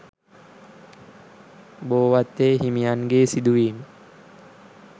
බෝවත්තේ හිමියන්ගේ සිදුවීම